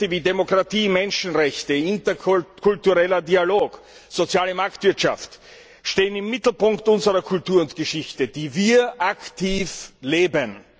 Werte wie Demokratie, Menschenrechte, interkultureller Dialog, soziale Marktwirtschaft stehen im Mittelpunkt unserer Kultur und Geschichte, die wir aktiv leben.